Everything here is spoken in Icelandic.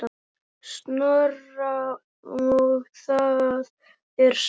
Snorra og það er sárt.